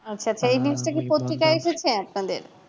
আপনাদের